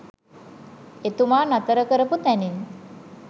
එතුමා නතර කරපු තැනින්